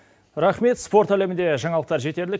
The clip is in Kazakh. рахмет спорт әлемінде жаңалықтар жетерлік